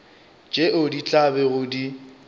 tšeo di tla bego di